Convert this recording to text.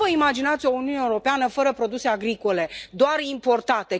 Cum vă imaginați o Uniune Europeană fără produse agricole, doar importate?